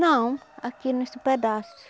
Não, aqui nesse pedaço.